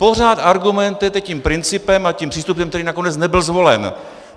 Pořád argumentujete tím principem a tím přístupem, který nakonec nebyl zvolen.